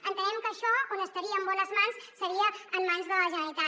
entenem que això on estaria en bones mans seria en mans de la generalitat